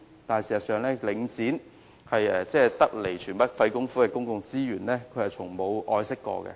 可是，事實上，領展對於得來全不費工夫的公共資源，從沒有好好愛惜。